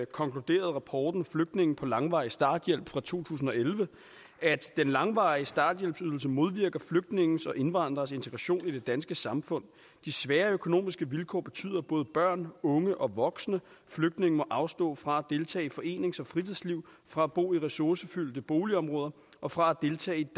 konkluderede rapporten flygtninge på langvarig starthjælp fra 2011 den langvarige starthjælpsydelse modvirker flygtninges og indvandrers integration i det danske samfund de svære økonomiske vilkår betyder at både børn unge og voksne flygtninge og indvandrere afstå fra at deltage i forenings og fritidsliv fra at bo i ressourcefyldte boligområder og fra at deltage i